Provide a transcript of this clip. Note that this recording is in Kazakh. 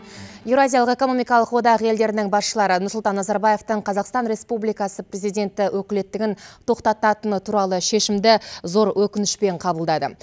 еуразиялық экономикалық одақ елдерінің басшылары нұрсұлтан назарбаевтың қазақстан республикасы президенті өкілеттігін тоқтататыны туралы шешімді зор өкінішпен қабылдады